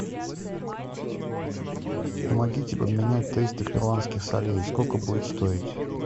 помогите поменять триста перуанских солей сколько будет стоить